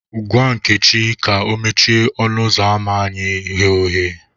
Gwa Nkechi ka o mechie ọnụ ụzọ ama anyị ghe oghe